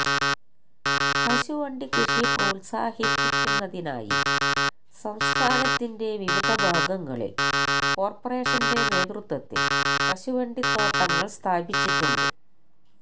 കശുവണ്ടി കൃഷി പ്രോത്സാഹിപ്പിക്കുന്നതിനായി സംസ്ഥാനത്തിന്റെ വിവിധ ഭാഗങ്ങളിൽ കോർപ്പറേഷന്റെ നേതൃത്വത്തിൽ കശുവണ്ടിത്തോട്ടങ്ങൾ സ്ഥാപിച്ചിട്ടുണ്ട്